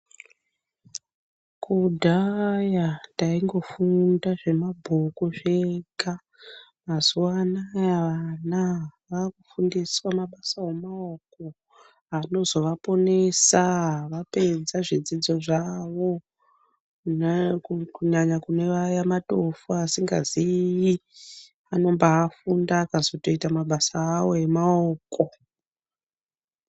Kudhaya taingofunda zvemabhuku zvega mazuva anawa vana vakufundiswa mabasa emaoko anozovaponesa Vapedza zvidzidzo zvawo kunyanya kune Vaya vatofo vasingazivi vanobafunda vakazoita mabasa awo emaoko.